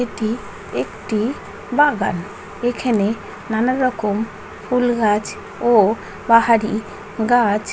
এটি একটি বাগান এখানে নানারকম ফুল গাছ ও পাহাড়ি গাছ--